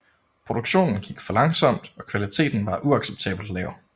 Produktionen gik for langsomt og kvaliteten var uacceptabelt lav